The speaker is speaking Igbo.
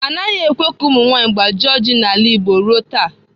Anaghị ekwe ka ụmụ nwanyị agbaji kola n'ala Igbo ruo taa.